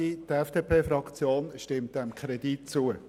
Die FDP-Fraktion stimmt dem Kredit zu.